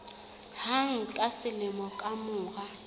hang ka selemo ka mora